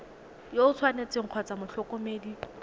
yo o tshwanetseng kgotsa motlhokomedi